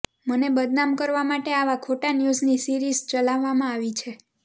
મને બદનામ કરવા માટે આવા ખોટા ન્યૂઝની સીરિઝ ચલાવવામાં આવી છે